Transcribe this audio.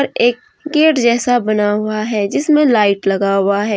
यह एक गेट जैसा बना हुआ है जिसमें लाइट लगा हुआ हैं।